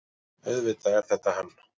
AUÐVITAÐ ER ÞETTA HANN.